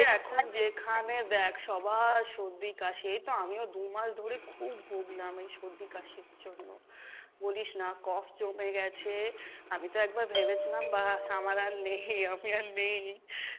এখন যেখানে দেখ সবার সর্দি কাশি, এইতো আমিও দু'মাস ধরে খুব ভুগলাম এই সর্দি কাশির জন্য, বলিস না জমে গেছে, আমি তো একবার ভেবেছিলাম বাস আমার আর নেই আমি আর নেই,